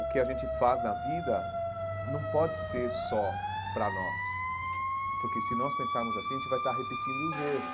O que a gente faz na vida não pode ser só para nós, porque se nós pensarmos assim, a gente vai estar repetindo os erros.